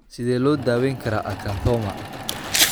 Sidee loo daweyn karaa acanthoma?